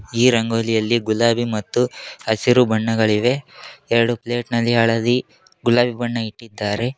ಈ ರಂಗೋಲಿಯಲ್ಲಿ ಗುಲಾಬಿ ಮತ್ತು ಹಸಿರು ಬಣ್ಣಗಳಿವೆ ಎರಡು ಪ್ಲೇಟ್ ನಲ್ಲಿ ಹಳದಿ ಗುಲಾಬಿ ಬಣ್ಣ ಇಟ್ಟಿದ್ದಾರೆ.